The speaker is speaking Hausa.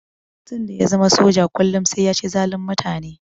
Tun da ya zama soja kullum sai ya ci zalun mutane.